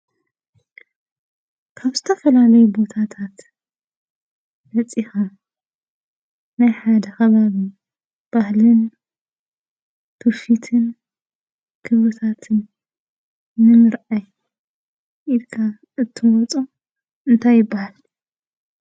ካብ ዝተፈላለዩ ቦታታት መፂኻ ናይ ሓደ ኸባቢ ባህልን ትዉፊትን ኩነታትን ንምርኣይ ኢልካ እተምፅኦ እንታይ ይብሃል?